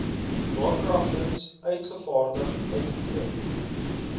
daarkragtens uitgevaardig uitoefen